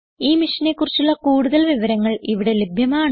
ഈ മിഷനെ കുറിച്ചുള്ള കുടുതൽ വിവരങ്ങൾ ഇവിടെ ലഭ്യമാണ്